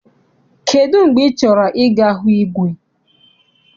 Kedụ mgbe ị chọrọ I ga hụ igwe?